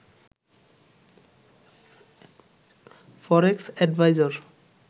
ফরেক্স adviser